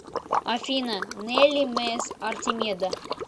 афина нелли мес артемида